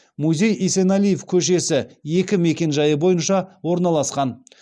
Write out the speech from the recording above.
музей есенәлиев көшесі екі мекенжайы бойынша орналасқан